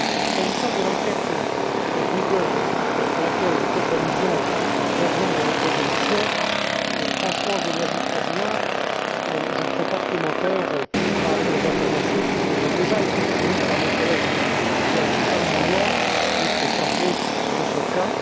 S'agissant de l'enquête sur Google à laquelle vous faites allusion clairement dans votre résolution, franchement, je n'ajouterai rien et ne ferai pas de commentaires par rapport aux informations qui vous ont déjà été fournies par mon collègue Joaquín Almunia, qui est chargé de ce cas.